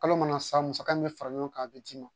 Kalo mana sa musaka min bɛ fara ɲɔgɔn kan a bɛ d'i ma